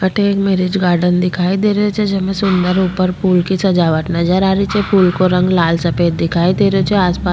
अठे एक marriage garden दिखाई दे रहियो छे जेमे सुन्दर ऊपर फूल की सजावट नजर आ रही छे फूल को रंग लाल सफ़ेद दिखाई दे रहियो छे आसपास --